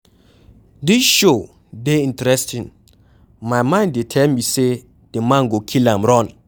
Dis show dey interesting, my mind dey tell me say the man go kill am run.